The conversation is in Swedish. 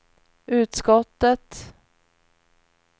utskottet